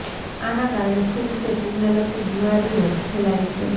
આના કારણે ફૂગ કે ફૂગને લગતી બીમારીઓ ફેલાય છે